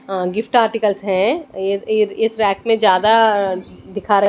Gift articles हैं। इस rack में ज्यादा दिखा--